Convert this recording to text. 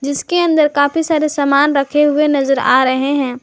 इसके अंदर काफी सारे सामान रखे हुए नजर आ रहे हैं।